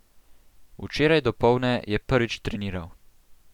Včeraj dopoldne je prvič treniral.